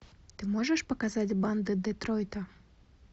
ты можешь показать банды детройта